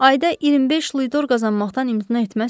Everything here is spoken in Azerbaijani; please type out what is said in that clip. Ayda 25 luidor qazanmaqdan imtina etməzsiz?